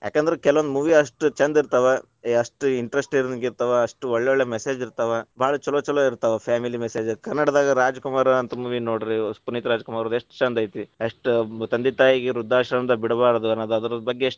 ಯಾಕೆಂದ್ರೆ ಕೆಲವೊಂದು movie ಅಷ್ಟು ಛಂದ ಇರ್ತಾವ, ಅಷ್ಟ್‌ interesting ಇರ್ತಾವ. ಅಷ್ಟ ಒಳ್ಳೊಳ್ಳೆ message ಇರ್ತಾವ, ಭಾಳ ಛಲೋ ಛಲೋ ಇರ್ತಾವ, family message ಕನ್ನಡದಾಗ ರಾಜಕುಮಾರ ಅಂತ movie ನೋಡ್ರೀ ಪುನೀತರಾಜ್‌ ಕುಮಾರವ್ರದ ಎಷ್ಟ ಛಂದ ಐತಿ ಎಷ್ಟು ತಂದೆ ತಾಯಿಗ ವೃದ್ಧಾಶ್ರಮದಾಗ ಬಿಡಬಾರದು ಅನ್ನೋದು ಅದರ ಬಗ್ಗೆ ಎಷ್ಟ್ .